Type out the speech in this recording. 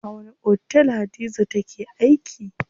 A wani otel Hadiza take aiki?